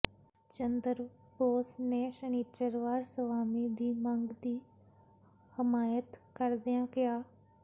ਚੰਦਰ ਬੋਸ ਨੇ ਸ਼ਨਿਚਰਵਾਰ ਸਵਾਮੀ ਦੀ ਮੰਗ ਦੀ ਹਮਾਇਤ ਕਰਦਿਆਂ ਕਿਹਾ